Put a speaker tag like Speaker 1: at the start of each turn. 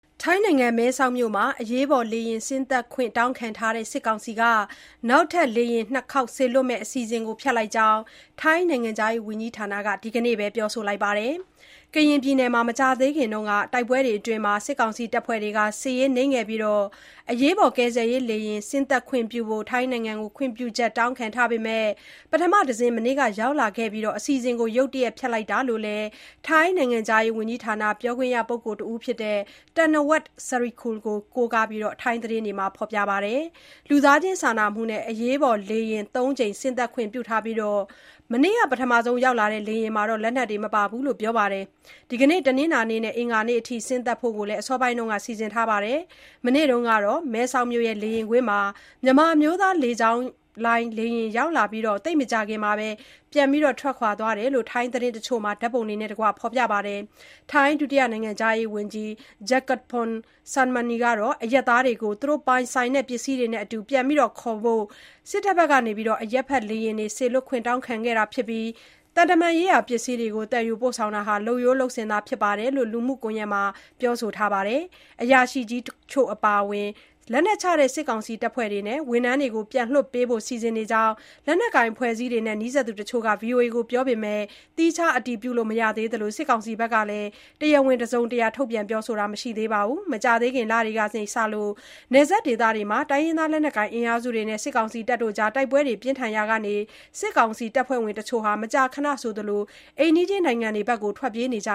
Speaker 1: ထိုင်းနိုင်ငံ၊ မဲဆောက်မြို့မှာ အရေးပေါ်လေယာဉ် ဆင်းသက်ခွင့် တောင်းခံထားတဲ့ စစ်ကောင်စီက နောက်ထပ် လေယာဉ် ၂ ခေါက် စေလွှတ်မယ့် အစီအစဉ်ကို ဖျက်လိုက်ပြီလို့ သတင်းတွေ ထွက်ပေါ်လာပါတယ်။ ကရင်ပြည်နယ်မှာ မကြာသေးခင်က တိုက်ပွဲတွေအတွင်း စစ်ကောင်စီတပ်ဖွဲ့တွေ အရေးနိမ့်ခဲ့ပြီးနောက် အရေးပေါ် ကယ်ဆယ်ရေးလေယာဉ် ဆင်းသက်ခွင့်ပြုဖို့ ထိုင်းနိုင်ငံကို ခွင့်ပြုချက် တောင်းခံထားပေမဲ့ ပထမတစင်း မနေ့က ရောက်လာခဲ့ပြီး အစီအစဉ်ကို ရုတ်တရက် ဖျက်လိုက်တာလို့လည်း ထိုင်းနိုင်ငံခြားရေးဝန်ကြီးဌာန ပြောခွင့်ရပုဂ္ဂိုလ် တဦးဖြစ်တဲ့ Thanawat Sirikul ကို ကိုးကားပြီး ထိုင်းသတင်းတွေမှာ ဖော်ပြခဲ့ကြတာပါ။ လူသားချင်းစာနာမှုနဲ့ အရေးပေါ်လေယာဉ် ၃ ကြိမ် ဆင်းသက်ခွင့် ပြုထားပြီး၊ မနေ့က ပထမဆုံး ရောက်လာတဲ့ လေယာဉ်မှာ လက်နက်တွေ မပါဘူးလို့လည်း ပြောပါတယ်။ ဒီကနေ့ တနင်္လာနေ့နဲ့ အင်္ဂါနေ့တွေအထိ ဆင်းသက်ဖို့လည်း အစောပိုင်းမှာ စီစဉ်ထားတယ်လို့ ပြောပါတယ်။ မနေ့တုန်းကတော့ မဲဆောက်မြို့ လေယာဉ်ကွင်းမှာ မြန်မာအမျိုးသားလေကြောင်းလိုင်း လေယာဉ်ရောက်ရှိလာခဲ့ပြီး သိပ်မကြာခင်မှာပဲ ပြန်ထွက်ခွာသွားတယ်လို့လည်း ထိုင်းသတင်းတချို့မှာ ဓာတ်ပုံတွေနဲ့တကွ ဖော်ပြကြပါတယ်။ ထိုင်းဒုတိယနိုင်ငံခြားရေးဝန်ကြီး Jakkapong Sangmanee ကတော့ အရပ်သားတွေကို သူတို့ပိုင်ဆိုင်တဲ့ ပစ္စည်းတွေနဲ့အတူ ပြန်ခေါ်ဖို့ အရပ်ဖက်လေယာဉ် စေလွှတ်ခွင့် တောင်းခံခဲ့တာဖြစ်ပြီး၊ သံတမန်ရေးရာ ပစ္စည်းတွေကို သယ်ယူပို့ဆောင်တာဟာ လုပ်ရိုးလုပ်စဉ်သာ ဖြစ်တယ်လို့လည်း လူမှုကွန်ရက်မှာ ပြောဆိုထားပါတယ်။ အရာရှိကြီးတချို့ အပါအဝင် လက်နက်ချတဲ့ စစ်ကောင်စီတပ်ဖွဲ့ဝင်တွေနဲ့ ဝန်ထမ်းတွေကို ပြန်လွှတ်ပေးဖို့ စီစဉ်နေကြောင်း လက်နက်ကိုင် အဖွဲ့အစည်းတွေနဲ့ နီးစပ်သူ တချို့ကလည်း ဗွီအိုအေကို ပြောပေမဲ့ သီးခြားအတည်ပြုလို့ မရသေးသလို စစ်ကောင်စီက တရားဝင်တစုံတရာ ပြောဆိုတာတော့ မရှိသေးပါဘူး။ မကြာသေးခင်လတွေကစ နယ်စပ်ဒေသတွေမှာ တိုင်းရင်းသား လက်နက်ကိုင် အင်အားစုတွေနဲ့ တိုက်ပွဲတွေ ပြင်းထန်လာရာက စစ်ကောင်စီ တပ်ဖွဲ့ဝင်တွေ မကြာခဏဆိုသလို အိမ်နီးချင်း နိုင်ငံတွေကို ထွက်ပြေးနေကြ